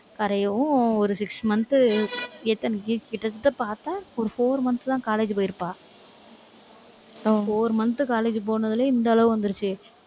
கரையவும் ஒரு six month எத்தன கிட்டத்தட்ட பார்த்தா ஒரு four months தான் college போயிருப்பா ஒரு four month college போனதுலயே, இந்த அளவு வந்துருச்சு.